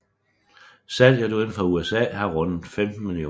Salget udenfor USA har rundet 15 millioner